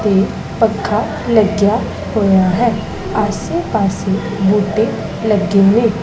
ਤੇ ਪੱਖਾ ਲੱਗਿਆ ਹੋਇਆ ਹੈ ਆਸੇ ਪਾੱਸੇ ਬੂਟੇ ਲੱਗੇ ਨੇਂ।